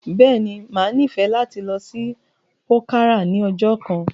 Bẹ́ẹ̀ ni, màá nífẹ̀ẹ̀ láti lọ sí pòkárà ní ọjọ́ kan.